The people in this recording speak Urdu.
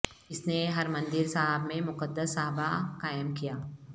اس نے حرمندیر صاحب میں مقدس صحابہ قائم کیا